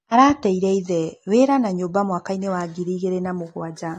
Arateire ithe, wĩra na nyũmba mwakainĩ wa ngiri igĩrĩ na mũgwanja.